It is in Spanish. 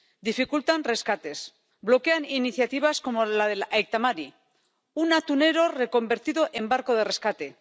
Dificultan rescates, bloquean iniciativas como la del Aita Mari un atunero reconvertido en barco de rescate